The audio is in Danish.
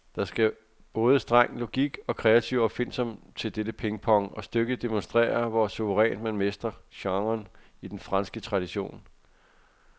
Der skal både streng logik og kreativ opfindsomhed til dette pingpong, og stykket demonstrerer, hvor suverænt man mestrer genren i den franske tradition.